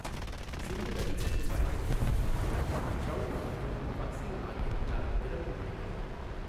சிந்து நதி இங்கு பாய்கிறது மற்றும் ட்ரௌட் மற்றும் மஹ்சீர் ஆகியவற்றால் நிரம்பி வழிகிறது.